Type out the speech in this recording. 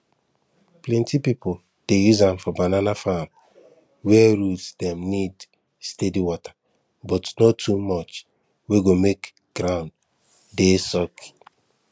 plenty pipu dey use am for banana farm where root dem need steady water but no too much wey go make ground dey soggy